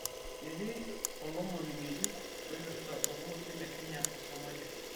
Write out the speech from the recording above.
ketii olomoni ng'ejuk oipirta orpolosie le kenya o somalia